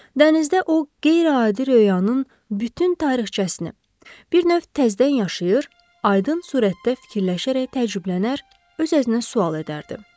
Dənizdə o qeyri-adi röyanın bütün tarixçəsini, bir növ təzədən yaşayır, aydın surətdə fikirləşərək təəccüblənər, öz-özünə sual edərdi.